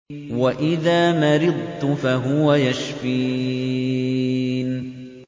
وَإِذَا مَرِضْتُ فَهُوَ يَشْفِينِ